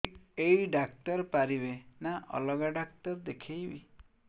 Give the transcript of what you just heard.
ଏଇ ଡ଼ାକ୍ତର ପାରିବେ ନା ଅଲଗା ଡ଼ାକ୍ତର ଦେଖେଇବି